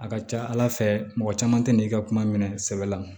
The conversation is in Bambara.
A ka ca ala fɛ mɔgɔ caman tɛ n'i ka kuma minɛ sɛbɛ la